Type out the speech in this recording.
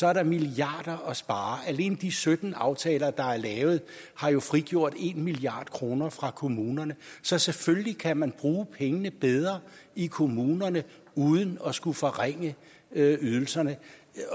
er der milliarder at spare alene de sytten aftaler der er lavet har frigjort en milliard kroner fra kommunerne så selvfølgelig kan man bruge pengene bedre i kommunerne uden at skulle forringe ydelserne